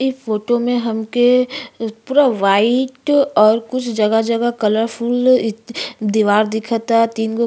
इ फोटो में हमके पूरा वाइट और कुछ जगह-जगह कलरफूल इत् दीवार दिखता। तीन गो --